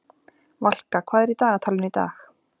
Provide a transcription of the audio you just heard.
Valka, hvað er í dagatalinu í dag?